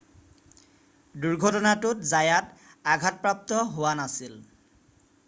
দুৰ্ঘটনাটোত জায়াত আঘাতপ্ৰাপ্ত হোৱা নাছিল